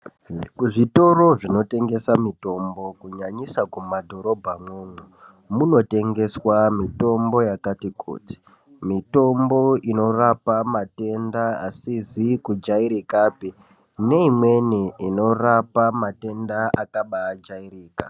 Kuzvitori zvinotengesa mutombo, kunyanyisa kumadhorobha mo, munotengeswa mutombo yakati kuti. Mitombo inorapa matenda asizikujairikape, neyimweni inorapa matenda akabajayirika.